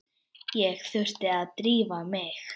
Ég þurfti að drífa mig.